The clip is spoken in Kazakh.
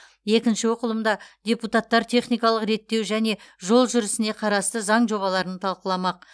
екінші оқылымда депутаттар техникалық реттеу және жол жүрісіне қарасты заң жобаларын талқыламақ